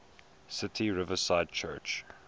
city riverside church